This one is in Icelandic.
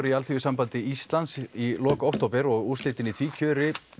í Alþýðusambandi Íslands í lok október og úrslitin í því kjöri